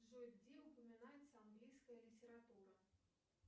джой где упоминается английская литература